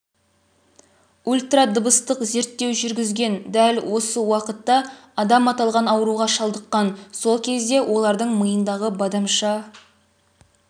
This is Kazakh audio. ультрадыбыстық зерттеу жүргізген дәл осы уақытта адам аталған ауруға шалдыққан сол кезде олардың миындағы бадамша